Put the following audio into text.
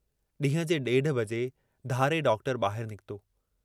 ॾींहं जे ॾेढ बजे धारे डॉक्टर बाहिर निकतो।